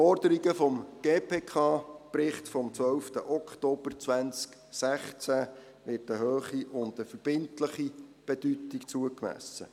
Den Forderungen des GPK-Berichts vom 12. Oktober 2016 wird eine hohe und verbindliche Bedeutung zugemessen.